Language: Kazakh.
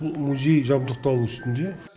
бұл музей жабдықталу үстінде